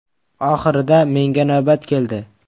Oxirida menga navbat keldi.